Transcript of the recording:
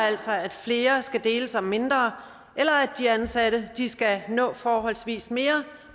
altså at flere skal deles om mindre eller at de ansatte skal nå forholdsvis mere